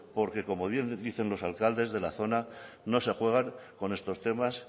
porque como bien dicen los alcaldes de la zona no se juegan con estos temas